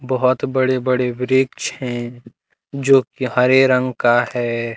बहोत बड़े-बड़े वृक्ष हैं जो की हरे रंग का है।